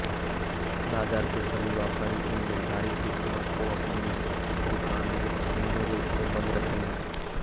बाजार के सभी व्यापारी इन निर्धारित तिथियों को अपनी दुकानें पूर्ण रूप से बंद रखेंगे